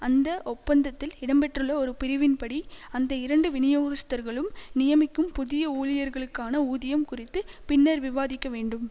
அந்த ஒப்பந்தத்தில் இடம்பெற்றுள்ள ஒரு பிரிவின்படி அந்த இரண்டு விநியோகஸ்தர்களும் நியமிக்கும் புதிய ஊழியர்களுக்கான ஊதியம் குறித்து பின்னர் விவாதிக்க வேண்டும்